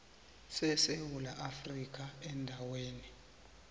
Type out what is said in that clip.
sesewula afrika endaweni